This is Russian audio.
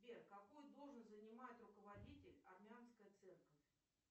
сбер какую должность занимает руководитель армянской церкви